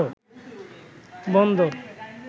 বন্দর